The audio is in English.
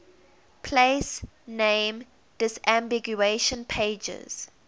place name disambiguation pages